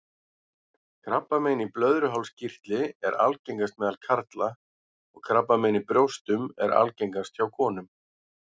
Krabbamein í blöðruhálskirtli er algengast meðal karla og krabbamein í brjóstum er algengast hjá konum.